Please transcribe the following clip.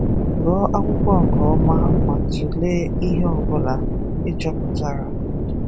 Gụọ akwụkwọ nke ọma ma tụlee ihe ọbụla ị chọpụtara.